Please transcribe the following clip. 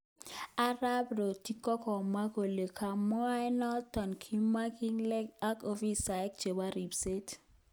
Arap Rotich kokamwa kole kabwatet noton komakingalalen ak ofisaek chebo ripset.